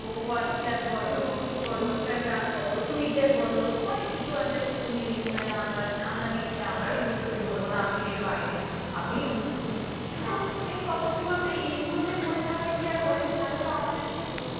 Twitter বলো, অনেককিছু আছে, তুমি মানে আমরা আমরা mainly আমরাই use করি বলবো না, এর বাইরে আমিও use করি কিন্তু মেন কথা কি বলো তো? এইগুলোতে পড়ে থাকলে কি আর হবে? তাহলে তো আমাদের